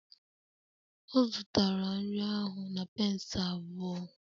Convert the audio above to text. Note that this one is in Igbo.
Ọ zụtara nri ahụ na pence abụọ